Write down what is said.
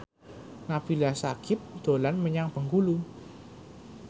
Nabila Syakieb dolan menyang Bengkulu